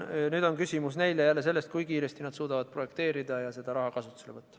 Küsimus on jälle pigem selles, kui kiiresti nad suudavad projekteerida ja selle raha kasutusele võtta.